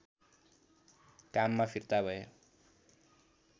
काममा फिर्ता भए